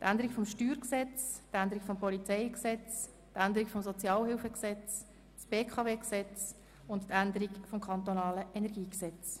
die Änderung des Steuergesetzes, die Änderung des Polizeigesetzes, die Änderung des Sozialhilfegesetzes, das BKW-Beteiligungsgesetz und die Änderung des kantonalen Energiegesetzes.